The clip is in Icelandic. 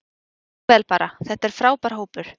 Mjög vel bara, þetta er frábær hópur.